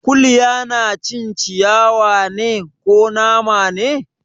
Kuliya na cin ciyawa ne, ko nama ne?